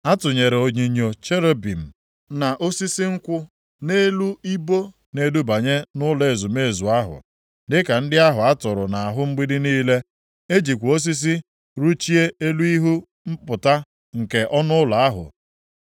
A tụnyere onyinyo cherubim na osisi nkwụ nʼelu ibo na-edubanye nʼụlọ ezumezu ahụ, dịka ndị ahụ a tụrụ nʼahụ mgbidi niile. E jikwa osisi rụchie elu ihu mpụta nke ọnụ ụlọ ahụ.